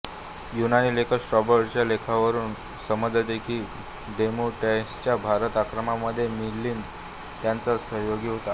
यूनानी लेखक स्ट्रैबोच्या लेखांवरुन समझते की डेमेट्रियसच्या भारत आक्रमणामध्ये मिलिंद त्याचा सहयोगी होता